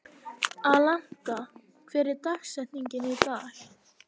Alanta, hver er dagsetningin í dag?